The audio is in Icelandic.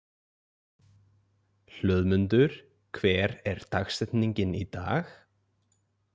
Hlöðmundur, hver er dagsetningin í dag?